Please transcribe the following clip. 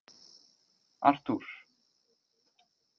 Arthúr